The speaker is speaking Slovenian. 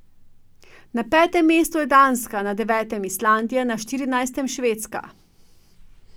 Na petem mestu je Danska, na devetem Islandija, na štirinajstem Švedska.